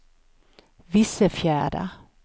Vissefjärda